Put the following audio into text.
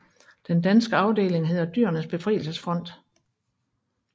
Den danske afdeling hedder Dyrenes Befrielsesfront